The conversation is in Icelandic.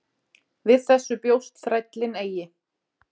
Við þessu bjóst þrællinn eigi.